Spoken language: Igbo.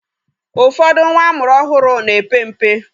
Ụfọdụ nwa amụrụ ọhụrụ na-epe mpe.